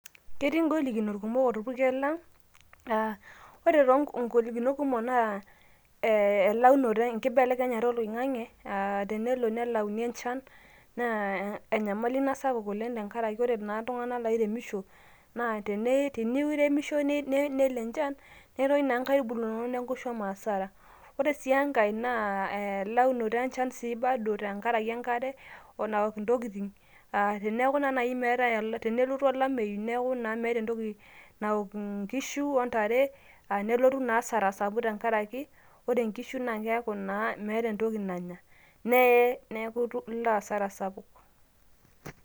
ketii ngolikinot kumok orpukel lang aa ore to nkolikinot kumok naa ee elaunoto enkibelekenyata oloingange aa tenelo nelayuni enchan naa enyamali ina sapuk tenkaraki ore naa iltunganak oiremisho naa tene tenimiremishoi nelo enchan netoyu naa nakitubulu neku isho hasara. ore sii enkae naa elaunoto enchan sii bado tenkaraki enkare we enaok ntokitin . teneaku na nai meetae tenelotu olameyu niaku naa meeta entoki naok inkishu ontare a nelotu naa asara sapuk tenkaraki naa ore nkishu naa keaku naa meeta entoki nanya ,neeye niaku ilo asara sapuk.